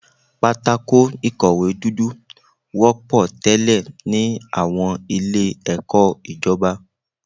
Pátákó ìkọ̀wé dúdú wọ́pọ̀ tẹ́lẹ̀ ní àwọn ilé ẹ̀kọ́ ìjọba.